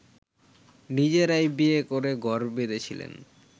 নিজেরাই বিয়ে করে ঘর বেঁধেছিলেন